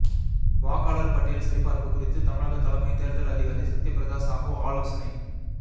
வாக்காளர் பட்டியல் சரிபார்ப்பு குறித்து தமிழக தலைமைத் தேர்தல் அதிகாரி சத்யபிரதா சாஹு ஆலோசனை